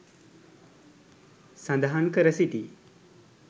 සඳහන් කර සිටි